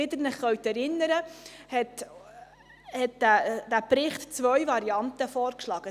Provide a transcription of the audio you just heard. Wie Sie sich erinnern können, schlägt der Bericht zwei Varianten vor.